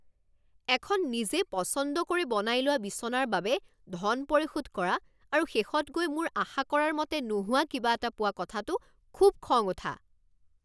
এখন নিজে পচন্দ কৰি বনাই লোৱা বিছনাৰ বাবে ধন পৰিশোধ কৰা আৰু শেষত গৈ মোৰ আশা কৰাৰ মতে নোহোৱা কিবা এটা পোৱা কথাটো খুব খং উঠা।